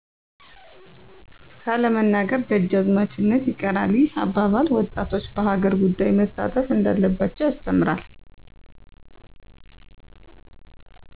ካለመናገር ደጅአዝማችነት ይቀራል ይህ አባል ወጣቶች በሀገር ጉዳይ መሳተፍ እንዳለባቸው ያስተምራል።